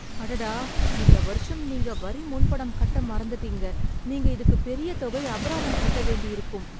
அடடா, இந்த வருஷம் நீங்க வரி முன்பணம் கட்ட மறந்துட்டீங்க! நீங்க இதுக்குப் பெரிய தொகை அபராதம் கட்டவேண்டியிருக்கும்.